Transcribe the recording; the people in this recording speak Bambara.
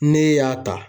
Ne y'a ta